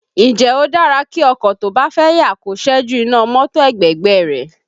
Ǹjẹ́ ó dára kí ọkọ tó bá fẹ́ yà kó ṣẹ́jú iná mọ́tò ẹ̀gbẹ̀gbẹ́ ẹ rẹ̀?